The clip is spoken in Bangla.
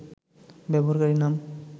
ব্যবহারকারীর নাম